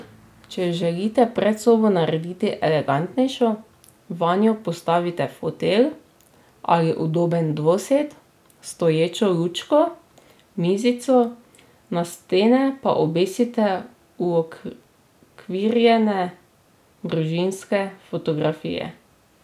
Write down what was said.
Če želite predsobo narediti elegantnejšo, vanjo postavite fotelj ali udoben dvosed, stoječo lučko, mizico, na stene pa obesite uokvirjene družinske fotografije.